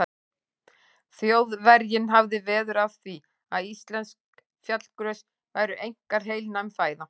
Þjóðverjinn hafði veður af því, að íslensk fjallagrös væru einkar heilnæm fæða.